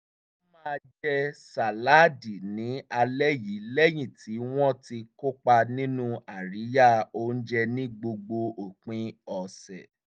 wọ́n máa jẹ sàláàdì ní alẹ́ yìí lẹ́yìn tí wọ́n ti kópa nínú àríyá oúnjẹ ní gbogbo òpin ọ̀sẹ̀